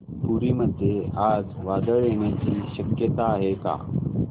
पुरी मध्ये आज वादळ येण्याची शक्यता आहे का